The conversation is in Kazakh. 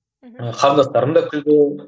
мхм қарындастарым да күлді